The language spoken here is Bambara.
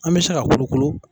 An bɛ se ka kolokolo